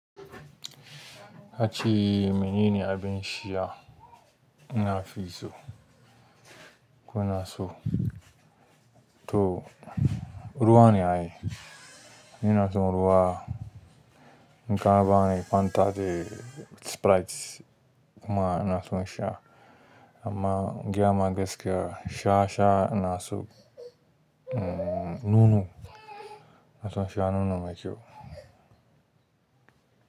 A ce menene abin sha na fi so, ko in so. To, ruwa ne ai. Ina son ruwa. In ka bani Fanta da Sprite kuma ina son sha amma giya ma gaskiya sha sha ina so. Nono ina son sha nono mai kyau.